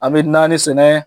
An bɛ naani sɛnɛ,